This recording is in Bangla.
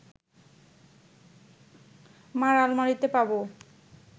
মা’র আলমারিতে পাব